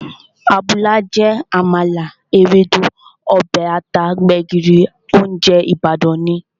Àbùlà jẹ́ àmàlà, Ewédú, ọbẹ̀ ata, gbẹ̀gìrì, óúnjẹ Ìbàdàn ni